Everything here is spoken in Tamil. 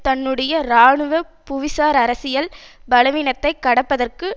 தன்னுடைய இராணுவ புவிசார் அரசியல் பலவீனத்தைக் கடப்பதற்கு